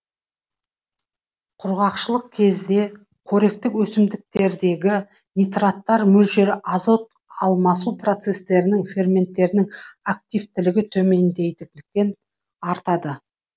құрғақшылық кезде қоректік өсімдіктердегі нитраттар мөлшері азот алмасу процестерінің ферменттерінің активтілігі төмендейтіндіктен артады